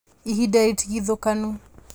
Ihinda rĩtigithũkanu